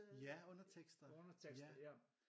Ja undertekster ja